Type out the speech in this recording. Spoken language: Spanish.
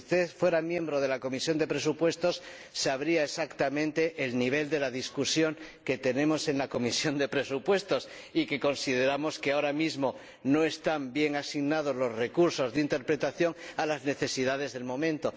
Si usted fuera miembro de la Comisión de Presupuestos conocería exactamente el nivel del debate que tenemos en la Comisión de Presupuestos, donde consideramos que, ahora mismo, no están bien asignados los recursos de interpretación a las necesidades del momento.